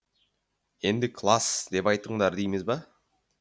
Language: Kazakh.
енді класс деп айтыңдар дейміз бе